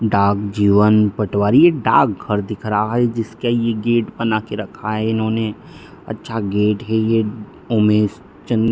डाक जीवन पटवारी डाक घर दिख रहा है जिसका ये गेट बना के रखा है इन्होंने अच्छा गेट है ये उमेश चंद --